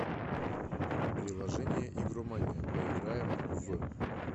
приложение игромания поиграем в